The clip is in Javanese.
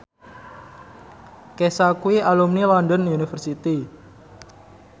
Kesha kuwi alumni London University